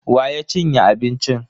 Wa ya cinye abincin?